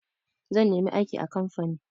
Zan nemi aiki a kamfani.